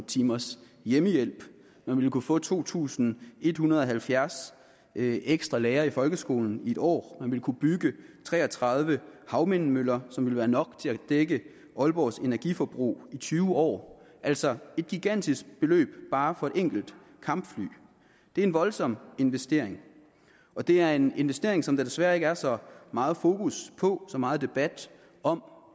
timers hjemmehjælp man ville kunne få to tusind en hundrede og halvfjerds ekstra lærere i folkeskolen i en år man ville kunne bygge tre og tredive havvindmøller som ville være nok til at dække aalborgs energiforbrug i tyve år altså et gigantisk beløb bare for et enkelt kampfly det er en voldsom investering og det er en investering som der desværre ikke er så meget fokus på så meget debat om